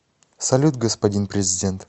салют господин президент